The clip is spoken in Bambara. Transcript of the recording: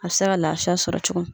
A bɛ se ka lafiya sɔrɔ cogomin.